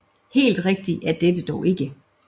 Helt rigtigt er dette dog ikke